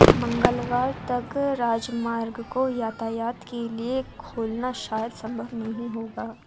मंगलवार तक राजमार्ग को यातायात के लिए खोलना शायद संभव नहीं होगा